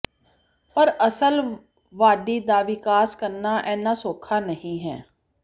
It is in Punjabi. ਪਰ ਅਸਲ ਵਾਢੀ ਦਾ ਵਿਕਾਸ ਕਰਨਾ ਇੰਨਾ ਸੌਖਾ ਨਹੀਂ ਹੈ